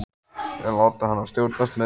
Þeir láta hana stjórnast með sig.